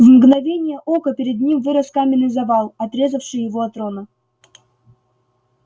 в мгновение ока перед ним вырос каменный завал отрезавший его от рона